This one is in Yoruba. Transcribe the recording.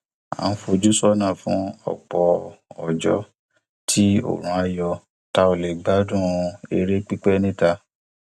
a ń fojú sọnà fún ọpọ ọjọ tí oòrùn á yọ tá ó lè gbádùn eré pípẹ níta